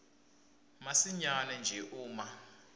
masinyane nje uma